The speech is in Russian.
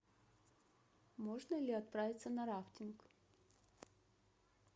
можно ли отправиться на рафтинг